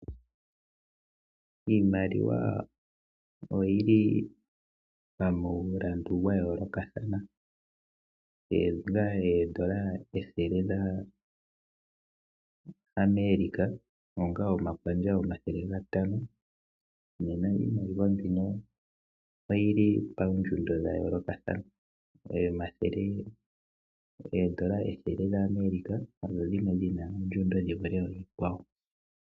Iimaliwa oyili pamulandu dha yoolokothana oondola ethele dhaAmeriaca onga omathele gatano. Nena iimaliwa mbino oyili paandjundo dha yoolokothana. Oondola ethele dhaAmerica odhina ondjundo dhi vule oonkwawo.